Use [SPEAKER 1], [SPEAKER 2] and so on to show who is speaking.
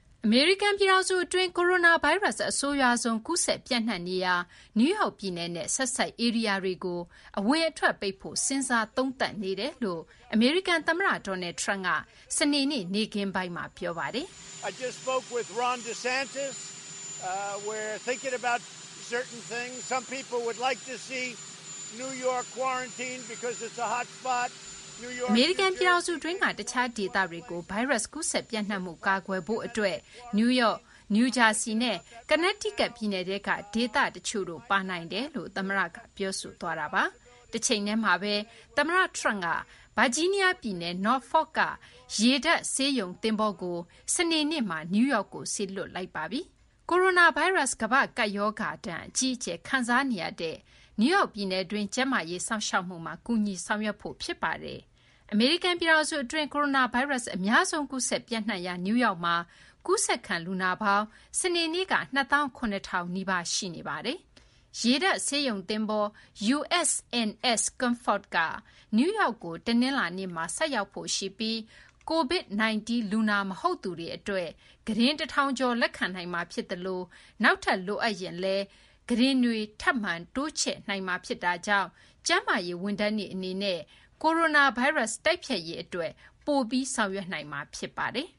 [SPEAKER 1] အမေရိကန်ပြည်ထောင်စုအတွင်း ကိုရိုနာဗိုင်းရပ်စ် အဆိုးရွားဆုံး ကူးစက် ပျံ့နှံ့နေရာ နယူးယောက်ပြည်နယ်နဲ့ ဆက်စပ်ဧရိယာတွေကို အဝင်အထွက်ပိတ်ဖို့ စဉ်းစားသုံးသပ်နေတယ်လို့ အမေရိကန်သမ္မတ Donald Trump က စနေနေ့ နေ့ခင်းပိုင်းမှာ ပြောဆိုလိုက်
[SPEAKER 2] ပါတယ်။
[SPEAKER 1] အမေရိကန်ပြည်ထောင်စုအတွင်းက တခြားဒေသတွေကို ဗိုင်းရပ်စ်ကူးစက် ပျံ့နှံ့မှုကို ကာကွယ်ဖို့အတွက် နယူးယောက်၊ နယူးဂျာဆီနဲ့ ကော်နက်တီးကပ် ပြည်နယ်ထဲက ဒေသတချို့တို့ ပါနိုင်တယ်လို့လည်း သမ္မတက ပြောဆိုပါတယ်။ တချိန်တည်းမှာပဲ သမ္မတ Trump က ဗာဂျီးနီးယားပြည်နယ် Nrofolk က ရေတပ်ဆေးရုံသင်္ဘောကို စနေနေ့မှာ နယူးယောက်ကို စေလွှတ်လိုက်ပါတယ်။ ကိုရိုနာဗိုင်းရပ်စ် ကမ္ဘာ့ကပ်ဘေးဒဏ် အကြီးအကျယ် ခံစားနေရတဲ့ နယူးယောက်ပြည်နယ်တွင်း ကျန်းမာရေး စောင့်ရှောက်မှုမှာ ကူညီဆောင်ရွက်ဖို့အတွက် ဖြစ်ပါတယ်။ အမေရိကန်ပြည်ထောင်စုအတွင်း ကိုရိုနာဗိုင်းရပ်စ် အများဆုံး ကူးစက်ပျံ့နှံ့နေရာ နယူးယောက်မှာ ကူးစက်ခံ လူနာပေါင်း စနေနေ့က ၂၇,၀၀၀ နီးပါး ရှိနေပါတယ်။ ရေတပ်ဆေးရုံသင်္ဘော USNS Comfort က နယူးယောက်ကို တနင်္လာနေ့မှာ ဆိုက်ရောက်ဖို့ရှိနေပြီး COVID-19 လူနာ မဟုတ်သူတွေအတွက် ကုတင် ၁,၀၀၀ ကျော် လက်ခံနိုင်မှာဖြစ်ပြီး နောက်ထပ်လည်း လူနာတွေအတွက် ကုတင်တွေ ထပ်မံတိုးချဲ့နိုင်မှာကြောင့် ကျန်းမာရေးဝန်ထမ်းတွေ အနေနဲ့ ကိုရိုနာဗိုင်းရပ်စ် တိုက်ဖျက်ရေးအတွက် ပိုပြီး ဆောင်ရွက်နိုင်မှာ ဖြစ်ပါတယ်။